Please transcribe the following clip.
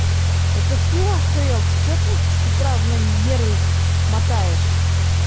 это ты ахуел ты что ты с утра у меня нервы мотаешь